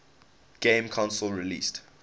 game console released